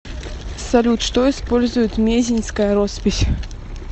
салют что использует мезеньская роспись